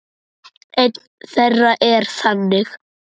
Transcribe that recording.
Ein þeirra er þannig